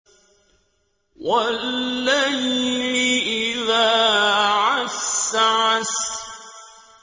وَاللَّيْلِ إِذَا عَسْعَسَ